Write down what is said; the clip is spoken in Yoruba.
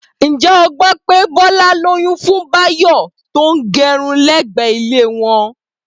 Ǹjẹ́ o gbọ́ pé Bọ́lá lóyún fún Báyọ̀ tó ń gérun lẹ́gbẹ̀ẹ́ ilé wọn?